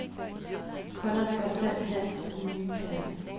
Kunderne går selv hen til den nye kasse.